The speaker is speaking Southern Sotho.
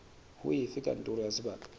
ho efe kantoro ya sebaka